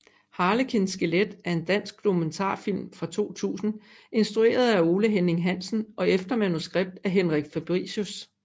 Harlekin skelet er en dansk dokumentarfilm fra 2000 instrueret af Ole Henning Hansen og efter manuskript af Henrik Fabricius